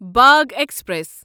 Bagh express